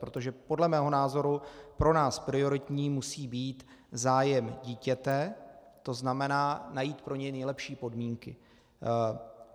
Protože podle mého názoru pro nás prioritní musí být zájem dítěte, to znamená najít pro něj nejlepší podmínky.